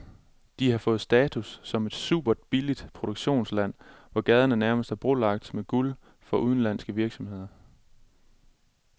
De har fået status som et superbilligt produktionsland, hvor gaderne nærmest er brolagt med guld for udenlandske virksomheder.